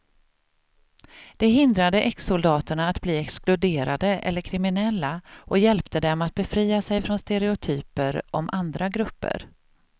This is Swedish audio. Det hindrade exsoldaterna att bli exkluderade eller kriminella och hjälpte dem att befria sig från stereotyper om andra grupper.